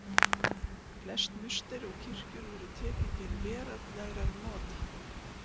Flest musteri og kirkjur voru tekin til veraldlegra nota.